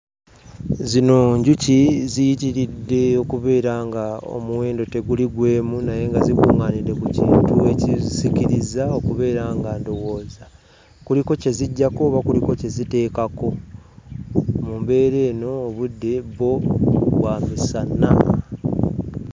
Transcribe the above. Zino njuki ziyitiridde okubeera ng'omuwendo teguli gw'emu naye nga zikuŋŋaanidde ku kintu ekizisikirizza okubeera nga ndowooza kuliko kye ziggyako oba kuliko kye ziteekako. Mu mbeera eno, obudde bwo bwa misana.